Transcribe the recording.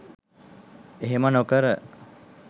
එහෙම නොකර